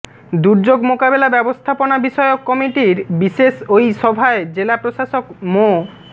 দুর্যোগ মোকাবিলা ব্যবস্থাপনা বিষয়ক কমিটির বিশেষ ওই সভায় জেলা প্রশাসক মো